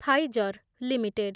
Pfizer limited